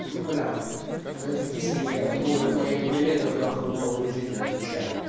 ну бля это кисленькая будет моим билетом нахуй в новую жизнь отвечаю